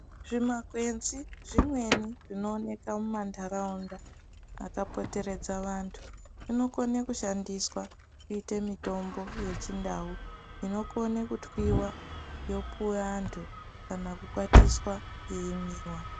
Zvi makwenzi zvimweni zvino oneka mu mandaraunda aka poteredza vantu zvino kone kushandiswa kuite mitombo ye chindau inokone kutwiwa yopuwe antu kana kukwatiswa yeimwiwa.